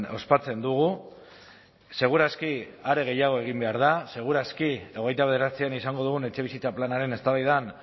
ospatzen dugu seguraski are gehiago egin behar da seguraski hogeita bederatzian izango dugun etxebizitza planaren eztabaidan